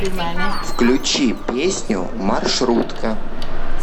включи песню маршрутка